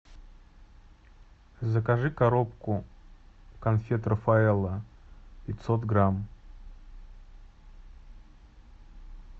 закажи коробку конфет рафаэлло пятьсот грамм